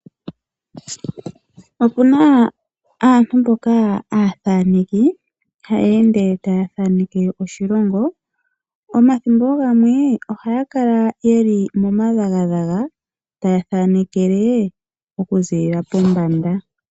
Opuna aantu mboka aatheneki haya ende taya thaneke oshilongo. Omathimbo gamwe ohaya kala taya thanekele okuza pombanda.